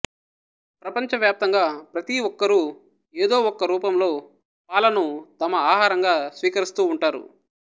ప్రపంచవ్యాప్తంగా ప్రతి ఒక్కరూ ఏదో ఒక్క రూపంలో పాలను తమ ఆహారంగా స్వీకరిస్తూ ఉంటారు